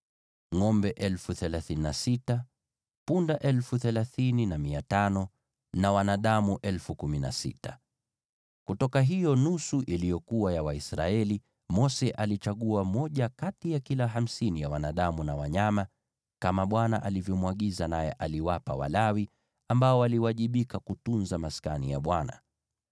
Kutoka hiyo nusu iliyokuwa ya Waisraeli, Mose alichagua moja kati ya kila hamsini ya wanadamu na wanyama, kama Bwana alivyomwagiza, naye aliwapa Walawi, ambao waliwajibika kutunza Maskani ya Bwana .